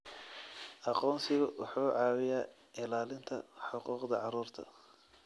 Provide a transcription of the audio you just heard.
Aqoonsigu wuxuu caawiyaa ilaalinta xuquuqda carruurta.